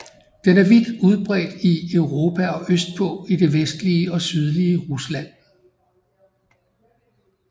Den er vidt udbredt i Europa og østpå i det vestlige og sydlige Rusland